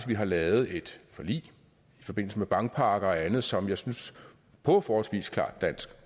vi har lavet et forlig i forbindelse med bankpakker og andet som jeg synes på forholdsvis klart dansk